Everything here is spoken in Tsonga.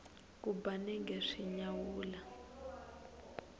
ku ba nenge swi nyawula